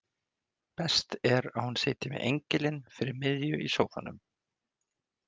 Best að hún sitji með engilinn fyrir miðju í sófanum.